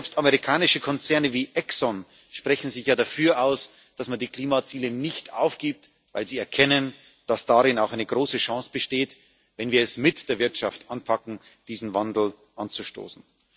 Selbst amerikanische Konzerne wie Exxon sprechen sich ja dafür aus, dass man die Klimaziele nicht aufgibt, weil sie erkennen, dass darin auch eine große Chance besteht, wenn wir es mit der Wirtschaft anpacken, diesen Wandel anzustoßen.